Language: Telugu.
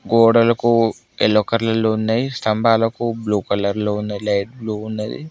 గోడలకు ఎల్లో కలర్ లో ఉన్నాయి స్తంభాలకు బ్లూ కలర్ లో ఉన్నాయి లైట్లు ఉన్నది.